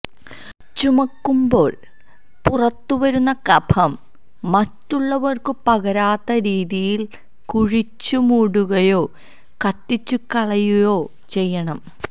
ചുമക്കുമ്പോള് പുറത്തുവരുന്ന കഫം മറ്റുള്ളവര്ക്ക് പകരാത്തരീതിയില് കുഴിച്ചു മൂടുകയോ കത്തിച്ചുകളയുയോ ചെയ്യണം